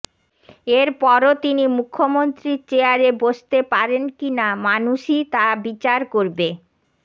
এর পরও তিনি মুখ্যমন্ত্রীর চেয়ারে বসতে পারেন কি না মানুষই তা বিচার করবে